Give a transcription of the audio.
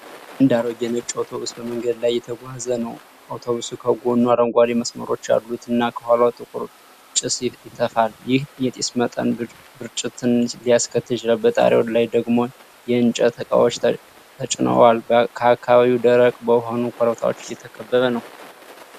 አንድ አሮጌ ነጭ አውቶብስ በመንገድ ላይ እየተጓዘ ነው። አውቶብሱ ከጎኑ አረንጓዴ መስመሮች ያሉትና፣ ከኋላው ጥቁር ጭስ ይተፋል። ይህ የጢስ መጠን ብስጭትን ሊያስከትል ይችላል። በጣሪያው ላይ ደግሞ የእንጨት እቃዎች ተጭነዋል። አካባቢው ደረቅ በሆኑ ኮረብታዎች የተከበበ ነው።